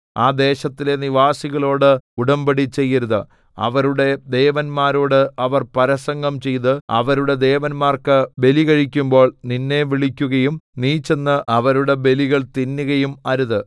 ആ ദേശത്തിലെ നിവാസികളോട് ഉടമ്പടി ചെയ്യരുത് അവരുടെ ദേവന്മാരോട് അവർ പരസംഗം ചെയ്ത് അവരുടെ ദേവന്മാർക്ക് ബലി കഴിക്കുമ്പോൾ നിന്നെ വിളിക്കുകയും നീ ചെന്ന് അവരുടെ ബലികൾ തിന്നുകയും അരുത്